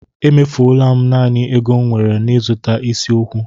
Emefuwo m naanị ego m nwere n'ịzụta isi okwu.